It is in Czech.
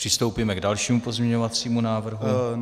Přistoupíme k dalšímu pozměňovacímu návrhu.